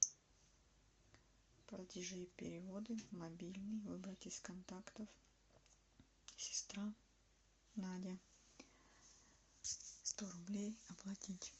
платежи и переводы мобильный выбрать из контактов сестра надя сто рублей оплатить